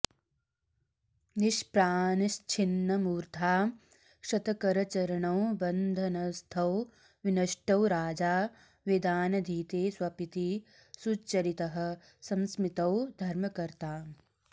निष्प्रानश्छिन्नमूर्द्धा क्षतकरचरणो बन्धनस्थो विनष्टो राजा वेदानधीते स्वपिति सुचरितः संस्मृतो धर्मकर्ता